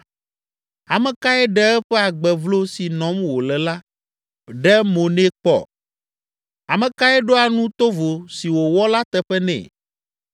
Ame kae ɖe eƒe agbe vlo si nɔm wòle la ɖe mo nɛ kpɔ? Ame kae ɖoa nu tovo si wòwɔ la teƒe nɛ?